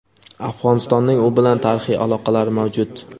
Afg‘onistonning u bilan tarixiy aloqalari mavjud.